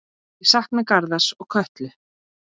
Ég sakna Garðars og Köllu.